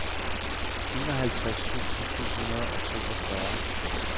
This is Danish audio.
enoghalvtreds tusind syv hundrede og toogfyrre